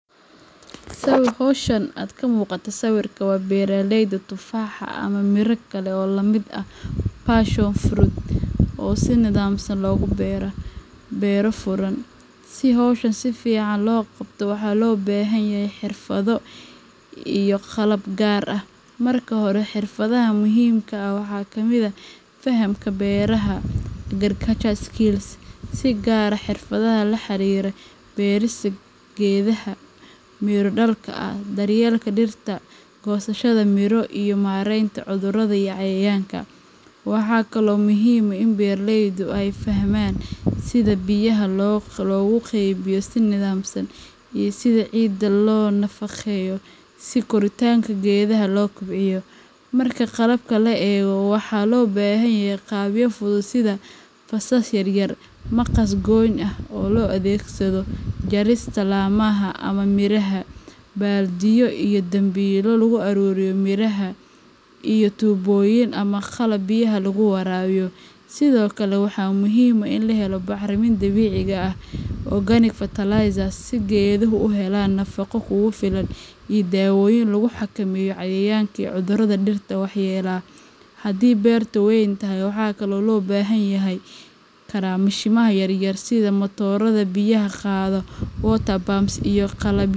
Sawirka hawshan aad ka muuqata sawirka waa beeraleyda tufaaxa ama miro kale oo la mid ah passion fruit oo si nidaamsan loogu beero, beero furan. Si hawshan si fiican loo qabto waxaa loo baahan yahay xirfado iyo qalab gaar ah. Marka hore, xirfadaha muhiimka ah waxaa ka mid ah fahamka beeraha agriculture skills, si gaar ah xirfadaha la xiriira beerista geedaha miro dhalka ah, daryeelka dhirta, goosashada miro, iyo maaraynta cudurrada iyo cayayaanka. Waxaa kaloo muhiim ah in beeraleydu ay fahmaan sida biyaha loogu qaybiyo si nidaamsan, iyo sida ciidda loo nafaqeeyo si koritaanka geedaha loo kobciyo. Marka qalabka la eego, waxaa loo baahan yahay qalabyo fudud sida: faasas yar yar, maqas goyn ah oo loo adeegsado jarista laamaha ama miraha, baaldiyo iyo dambiilo lagu ururiyo miraha, iyo tuubooyin ama qalab biyaha lagu waraabiyo. Sidoo kale, waxaa muhiim ah in la helo bacriminta dabiiciga ah organic fertilizers si geeduhu u helaan nafaqo kugu filan, iyo daawooyin lagu xakameeyo cayayaanka iyo cudurrada dhirta waxyeelleeya. Haddii beerta weyn tahay, waxaa kale oo loo baahan karaa mashiinnada yaryar sida matoorada biyaha qaada water pumps iyo qalabyo.